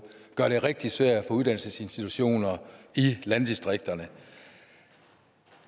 gør det rigtig svært for uddannelsesinstitutioner i landdistrikterne